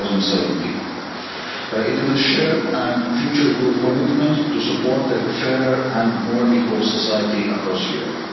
in 2017. It is a shared and future-proof commitment to support a fairer and more equal society across Europe.